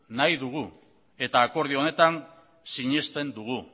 nahi dugu eta akordio honetan sinesten dugu